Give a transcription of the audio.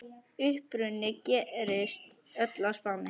Uppruni gerist öll á Spáni.